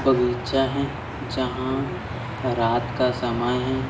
बगीचा है जहां रात का समय है।